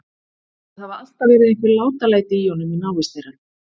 Það hafa alltaf verið einhver látalæti í honum í návist þeirra.